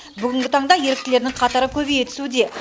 бүгінгі таңда еріктілердің қатары көбейе түсуде